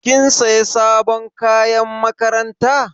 Kin sayi sabon kayan makaranta?